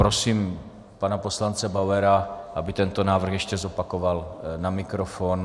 Prosím pana poslance Bauera, aby tento návrh ještě zopakoval na mikrofon.